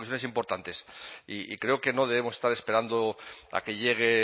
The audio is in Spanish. repercusiones importantes y creo que no debemos estar esperando a que llegue el